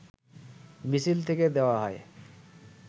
মিছিল থেকে দেয়া হয়